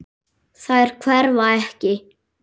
Þær hverfa ekki.